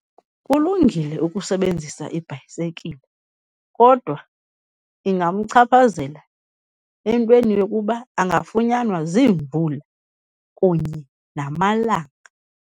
Kulungile ukusebenzisa ibhayisekile kodwa ingamchaphazela entweni yokuba angafunyanwa ziimvula kunye namalanga.